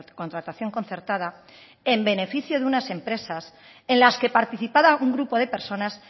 contratación concertada en beneficio de unas empresas en las que participaba un grupo de personas